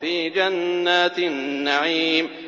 فِي جَنَّاتِ النَّعِيمِ